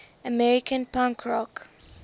american punk rock